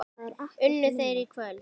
Unnu þeir í kvöld?